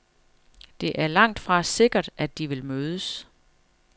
Det er langtfra sikkert, at de vil mødes.